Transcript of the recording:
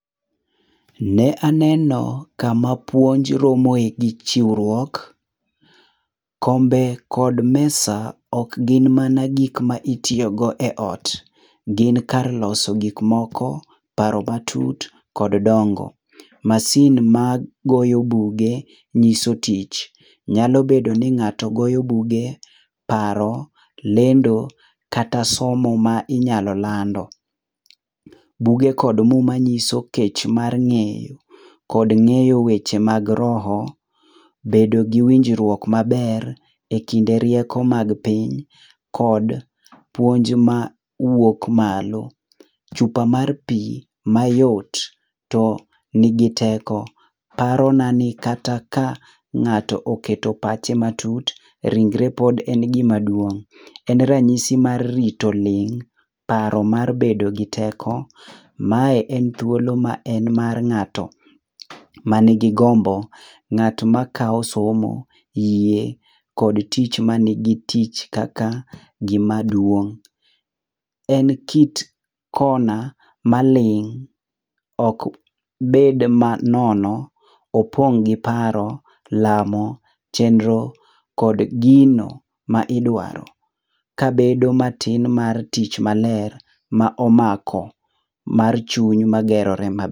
Ne aneno kama puonj romoe gi chiwruok. Kombe kod mesa ok gin mana gik ma itiyogo eot, gin kar loso gik moko, paro matut kod dongo. Masin magoyo buge nyiso tich. Nyalo bedo ni ng'ato goyo buge, paro, lendo kata somo ma inyalo lando. Buge kod muma nyiso kech mar ng'eyo, kod ng'eyo weche mag roho, bedo gi winjruok maber ekinde rieko mag piny kod puonj ma wuok malo. Chupa mar pi mayot tonigi teko, parona ni kata ka ng'ato oketo pache matut, ringre pod en gima duong'. En ranyisi mar rito ling', paro mar bedo gi teko. Mae en thuolo ma en mar ng'ato manigi gombo, ng'at makawo somo, yie kod tich manigi tich kaka gima duong'. En kit kona maling' ok bed manono, opong' gi paro, lamo, chenro kod gino ma idwaro kabedo matin mar tich maler ma omako, mar chuny magerore ma